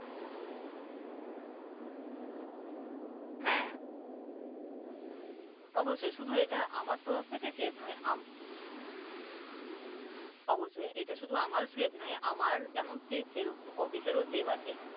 হ্যাঁ অবশ্যই শুধু এটা আমার তরফ থেকে save নয়, অবশ্যই এটা শুধু আমার save নয়। আমার যেমন save সেরকম অফিসের ও save আছে।